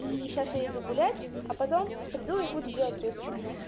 и сейчас я иду гулять а потом приду и буду делать русский